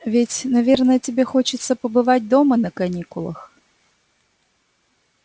ведь наверное тебе хочется побывать дома на каникулах